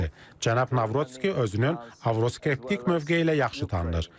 Cənab Navrutski özünün avroskeptik mövqeyi ilə yaxşı tanınır.